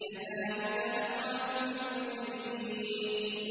كَذَٰلِكَ نَفْعَلُ بِالْمُجْرِمِينَ